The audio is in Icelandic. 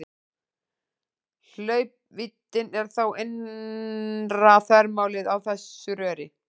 Hlaupvíddin er þá innra þvermálið á þessu röri.